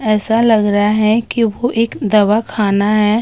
ऐसा लग रहा है कि वो एक दवाखाना है।